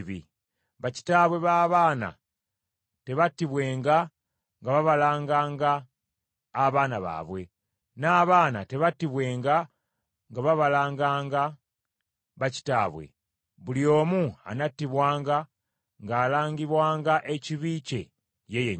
Bakitaabwe b’abaana tebattibwenga nga babalanganga abaana baabwe, n’abaana tebattibwenga nga babalanganga bakitaabwe; buli omu anattibwanga ng’alangibwanga ekibi kye ye yennyini.